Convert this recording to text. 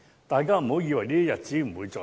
大家不要以為這些日子不會再臨。